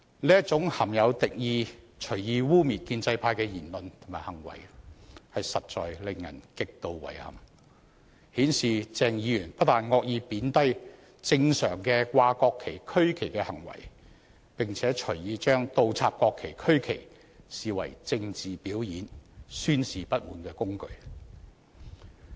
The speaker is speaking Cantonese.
這種含有敵意、隨意污衊建制派的言論和行為實在令人極度遺憾，顯示鄭議員不但惡意貶低正常掛國旗和區旗的行為，並且隨意將倒插國旗和區旗視為政治表演、宣示不滿的工具。